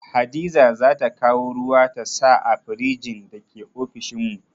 Hadiza zata kawo ruwa ta sa a firjin da ke ofishin mu